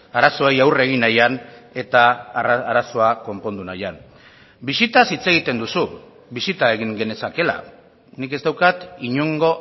arazoei aurre egin nahian eta arazoa konpondu nahian bisitaz hitz egiten duzu bisita egin genezakeela nik ez daukat inongo